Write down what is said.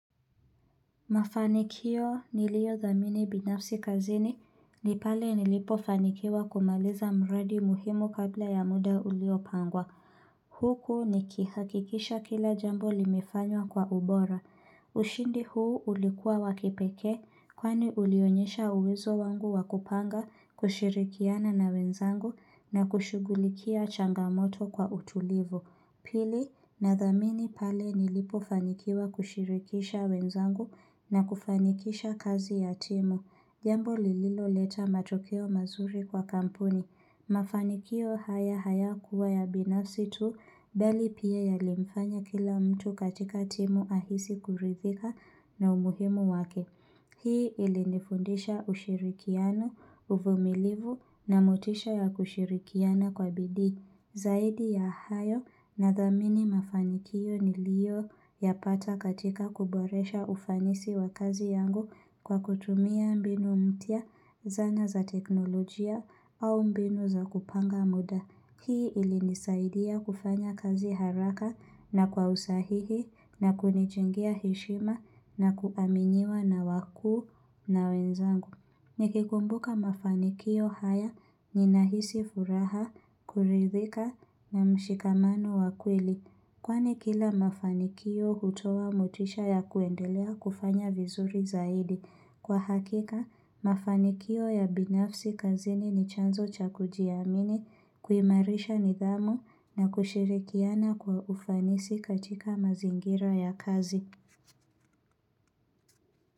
Mafanikio niliodhamini binafsi kazini ni pale nilipo fanikiwa kumaliza mradi muhimu kabla ya muda ulio pangwa Huku nikihakikisha kila jambo limefanywa kwa ubora. Ushindi huu ulikuwa wa kipekee, kwani ulionyesha uwezo wangu wa kupanga, kushirikiana na wenzangu na kushughulikia changamoto kwa utulivu. Pili nathamini pale nilipo fanikiwa kushirikisha wenzangu na kufanikisha kazi ya timu. Jambo lililo leta matokeo mazuri kwa kampuni. Mafanikio haya hayakuwa ya binafsi tu, bali pia yalimfanya kila mtu katika timu ahisi kuridhika na umuhimu wake. Hii ilinifundisha ushirikiano, uvumilivu na motisha ya kushirikiana kwa bidii. Zaidi ya hayo nadhamini mafanikio niliyo yapata katika kuboresha ufanisi wa kazi yangu kwa kutumia mbinu mpya zana za teknolojia au mbinu za kupanga muda. Hii ilinisaidia kufanya kazi haraka na kwa usahihi na kunijengea heshima na kuaminiwa na wakuu na wenzangu. Nikikumbuka mafanikio haya ninahisi furaha, kuridhika na mshikamano wa kweli, kwani kila mafanikio hutoa motisha ya kuendelea kufanya vizuri zaidi. Kwa hakika, mafanikio ya binafsi kazini ni chanzo cha kujiamini, kuimarisha nidhamu na kushirikiana kwa ufanisi katika mazingira ya kazi.